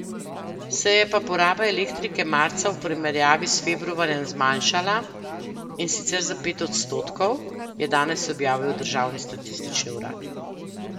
Se je pa poraba elektrike marca v primerjavi s februarjem zmanjšala, in sicer za pet odstotkov, je danes objavil državni statistični urad.